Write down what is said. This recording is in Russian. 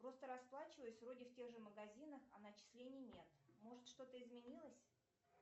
просто расплачиваюсь вроде в тех же магазинах а начислений нет может что то изменилось